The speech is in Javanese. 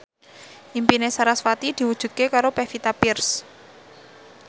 impine sarasvati diwujudke karo Pevita Pearce